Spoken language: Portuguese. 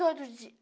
Todo dia.